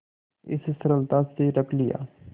इस सरलता से रख लिया